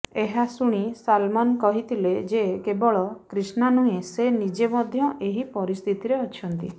ଏହା ଶୁଣି ସଲମାନ କହିଥିଲେ ଯେ କେବଳ କ୍ରିଷ୍ଣା ନୁହେଁ ସେ ନିଜେ ମଧ୍ୟ ଏହି ପରିସ୍ଥିତିରେ ଅଛନ୍ତି